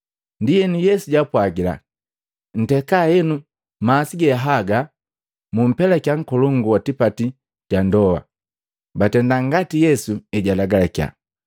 Ndienu Yesu jaapwagila, “Nteka henu masi haga mupelakiya nkolongu wa tipati ga ndoa.” Batenda ngati Yesu ejalagalakiya,